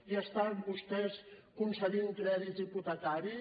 i estan vostès concedint crèdits hipotecaris